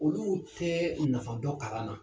Olu tɛ nafa dɔn kalan na.